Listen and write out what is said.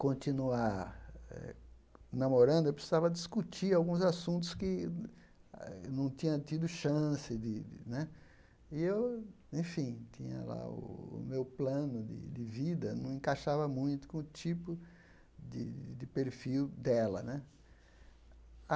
continuar eh namorando, eu precisava discutir alguns assuntos que eh não tinha tido chance de né... E eu enfim, o meu plano de de vida não encaixava muito com o tipo de de perfil dela né.